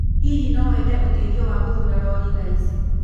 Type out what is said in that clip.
Hihi no wende ũteithio wa gũthuura lori thaa ici?